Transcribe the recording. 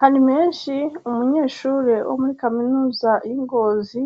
hari menshi umunyeshure wo muri kaminuza y'ingozi